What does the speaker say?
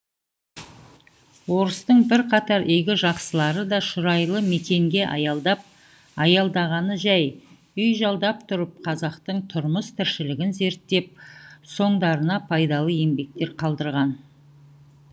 орыстың бірқатар игі жақсылары да шұрайлы мекенге аялдап аялдағаны жай үй жалдап тұрып қазақтың тұрмыс тіршілігін зерттеп соңдарына пайдалы еңбектер қалдырған